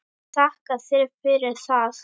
Ég þakka þér fyrir það.